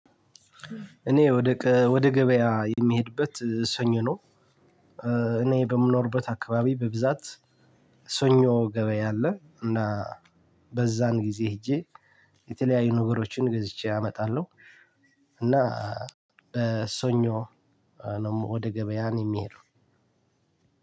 እኔ ወደ ወደ ገበያ የምሄድበት ሰኞ ነው። እኔ በምኖርበት አካባቢ በብዛት ሰኞ ገበያ አለ። እና በዛን ጊዜ ሄጄ የተለያዩ ነገሮችን ገዝቼ አመጣለሁ። እና በሰኞ ነው ወደ ገበያ እኔ የምሄደው።